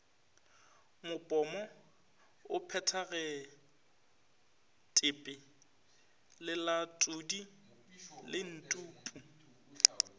mopomo o phethagetpe lelatodi lentpu